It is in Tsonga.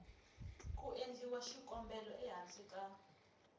ku endliwa xikombelo ehansi ka